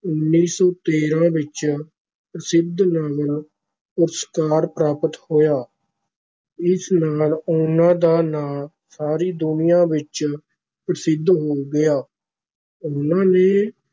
ਉੱਨੀ ਸੌ ਤੇਰਾਂ ਵਿਚ ਪ੍ਰਸਿੱਧ ਨੋਬਲ ਪੁਰਸਕਾਰ ਪ੍ਰਾਪਤ ਹੋਇਆ ਇਸ ਨਾਲ ਉਨਾਂ ਦਾ ਨਾਂ ਸਾਰੀ ਦੁਨੀਆਂ ਵਿਚ ਪ੍ਰਸਿੱਧ ਹੋ ਗਿਆ, ਉਹਨਾਂ ਨੇ